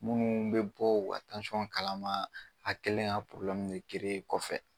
Minnu bɛ bɔ u ka kalama a kɛlen ka kɔfɛ.